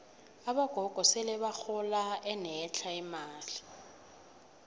abogogo sele bahola enetlha imali